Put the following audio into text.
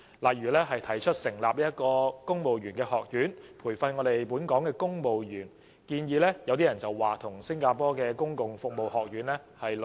例如，特首提出成立公務員學院培訓本港公務員，有人認為跟新加坡公共服務學院的概念相似。